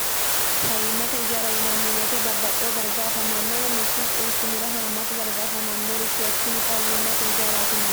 fayyiimmate ijaara yinanniweete babbaxxeho darga afamannowa mittu quuchumira haammata dargaafamannorichoottini fayyiimmate ijaaraatine